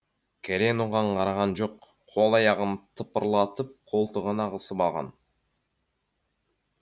кәлен оған қараған жоқ қол аяғын тыпырлатып қолтығына қысып алған